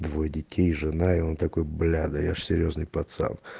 двое детей жена и он такой бля да я же серьёзный пацан